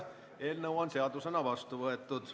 Eelnõu on seadusena vastu võetud.